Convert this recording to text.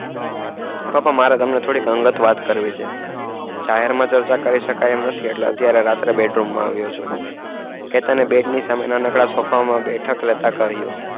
પપ્પા મારેતમને થોડી અંગત વાત કરવી છે જાહેર માં ચર્ચા કરી શકાય એમ નથી એટલે અત્યરે bed room માં આવીયો છું કેટને bed ની સામે બેઠક કરી